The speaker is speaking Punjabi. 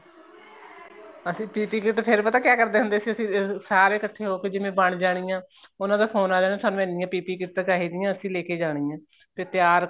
ਅਸੀਂ PP kit ਫ਼ੇਰ ਪਤਾ ਕਿਹਾ ਕਰਦਾ ਹੁੰਦੇ ਸੀ ਅਸੀਂ ਸਾਰੇ ਇੱਕਠੇ ਹੋਕੇ ਜਿਵੇਂ ਬਣ ਜਾਣੀਆਂ ਉਹਨਾ ਦਾ ਫੋਨ ਆ ਜਾਣਾ ਸਾਨੂੰ ਇਹਨੀਆਂ PP kit ਚਾਹੀਦੀ ਏ ਅਸੀਂ ਲੈਕੇ ਜਾਣੀਆਂ ਏ ਫ਼ੇਰ ਤਿਆਰ